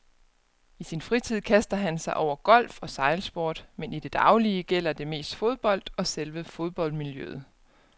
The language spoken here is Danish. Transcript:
I sin fritid kaster han sig over golf og sejlsport, men i det daglige gælder det mest fodbold og selve fodboldmiljøet.